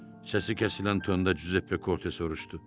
Səsi kəsilən tonda Cüzeppe Korte soruşdu.